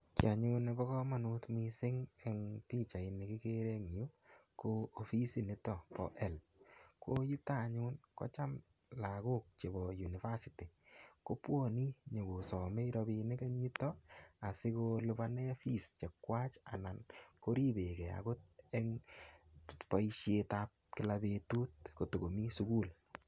Kii anyun nebo komonut missing en pichaini kikere en yuu no offisit niton bo helb ko yuton anyun kotam lokok chebo university kotam kobwone nyokosome rabinik en yuton asikoliponen fees chechwak ana koribengee okot en boishetab Kila betut kotakomii sukul.